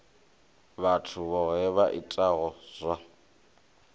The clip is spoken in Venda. vhathu vhohe vha itaho zwa